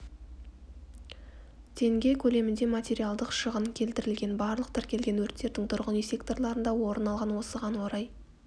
тенге көлемінде материалдық шығын келтірілген барлық тіркелген өрттердің тұрғын үй секторларында орын алған осыған орай